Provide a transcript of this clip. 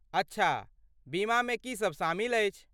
अच्छा, बीमामे की सब शामिल अछि?